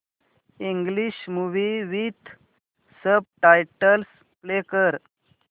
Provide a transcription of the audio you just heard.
English movie with subtitles play कर